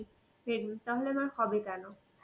এ তাহলে আমার হবে কেন?